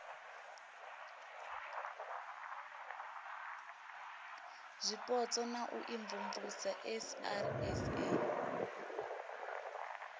zwipotso na u imvumvusa srsa